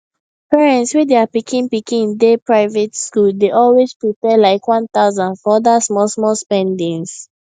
parents wey their pikin pikin dey private school dey always prepare like 1000 for other smallsmall spendings